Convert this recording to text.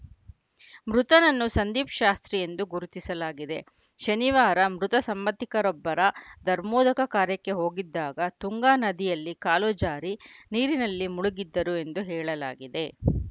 ಮೃತನನ್ನು ಸಂದೀಪ್‌ ಶಾಸ್ತ್ರಿ ಎಂದು ಗುರುತಿಸಲಾಗಿದೆ ಶನಿವಾರ ಮೃತ ಸಂಬಂಧಿಕರೊಬ್ಬರ ಧರ್ಮೋದಕ ಕಾರ್ಯಕ್ಕೆ ಹೋಗಿದ್ದಾಗ ತುಂಗಾ ನದಿಯಲ್ಲಿ ಕಾಲುಜಾರಿ ನೀರಿನಲ್ಲಿ ಮುಳುಗಿದ್ದರು ಎಂದು ಹೇಳಲಾಗಿದೆ